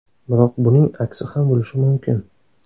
Biroq buning aksi ham bo‘lishi mumkin.